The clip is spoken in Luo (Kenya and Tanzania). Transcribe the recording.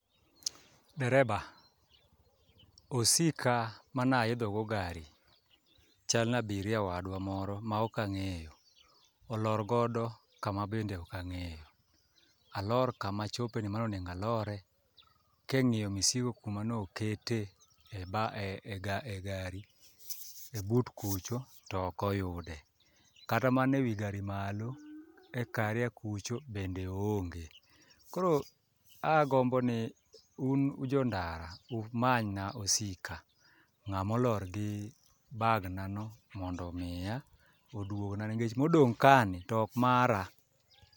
Dereba, osika manaidhogo gari chal na abiria wadwa moro maok ang'eyo olorgodo kama bedne okang'eyo, alor kamachopeni manonego alore, king'iyo misigo kamanokete e gari e but kucho tokoyude, kata mana e wi gari malo e karia kucho bende oonge, koro agomboni un un jo ndara umanyna osika, ng'ama olor gi bagna no mondo omiya oduogna nikech modong' kani to ok mara.